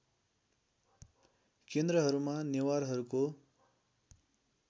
केन्द्रहरूमा नेवारहरूको